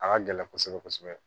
A ka gɛlɛn kosɛbɛ kosɛbɛ